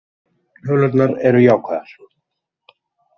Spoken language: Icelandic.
Tölurnar eru jákvæðar